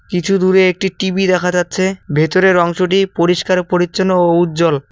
কিছু দূরে একটি টি_ভি দেখা যাচ্ছে ভেতরের অংশটি পরিষ্কার পরিচ্ছন্ন ও উজ্জ্বল।